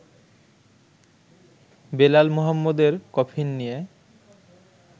বেলাল মোহাম্মদের কফিন নিয়ে